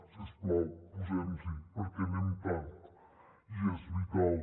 si us plau posem nos hi perquè anem tard i és vital